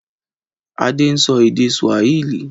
Adé ń sọ èdè Swahili.